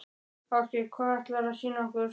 Ásgeir: Hvað ætlarðu að sýna okkur?